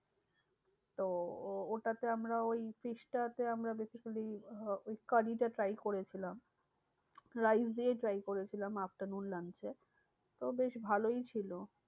তো ও~ ওটাতে আমরা ওই fish টা তে আমরা basically আহ ওই curry টা try করেছিলাম। rice দিয়ে try করেছিলাম afternoon lunch এ তো বেশ ভালোই ছিল।